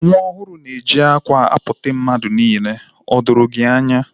Nwa ọhuru na-eji akwa akpote mmadu niile. O doro gi anya?